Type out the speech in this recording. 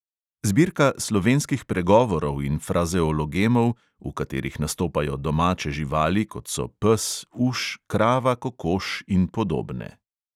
Zbirka slovenskih pregovorov in frazeologemov, v katerih nastopajo domače živali, kot so pes, uš, krava, kokoš in podobne.